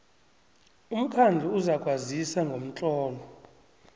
umkhandlu uzakwazisa ngomtlolo